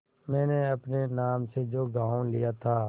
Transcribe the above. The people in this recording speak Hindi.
मैंने अपने नाम से जो गॉँव लिया था